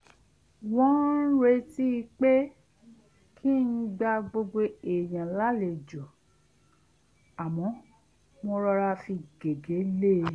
wọ́n ń retí pé kí n gba gbogbo èèyàn lálejò àmọ́ mo rọra fi gègé lée